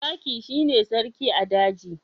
Zaki shi ne sarkin a daji